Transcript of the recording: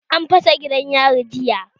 An fasa gidan yari jiya